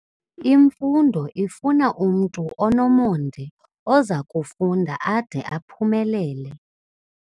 Imfundo ifuna umntu onomonde oza kufunda ade aphumelele.